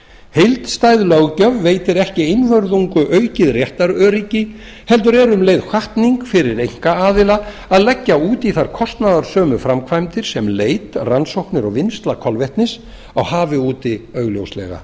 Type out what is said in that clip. heildstæð löggjöf veitir ekki einvörðungu aukið réttaröryggi heldur er um leið hvatning fyrir einkaaðila að leggja út í þær kostnaðarsömu framkvæmdir sem leit rannsóknir og vinnsla kolvetnis á hafi úti augljóslega